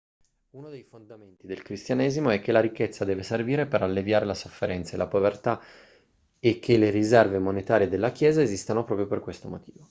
uno dei fondamenti del cristianesimo è che la ricchezza deve servire per alleviare la sofferenza e la povertà e che le riserve monetarie della chiesa esistano proprio per questo motivo